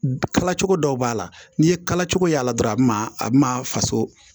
Kala cogo dɔw b'a la n'i ye kala cogo y'a la dɔrɔn a bɛ na a bɛ na faso